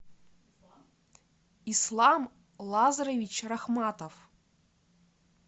ислам лазаревич рахматов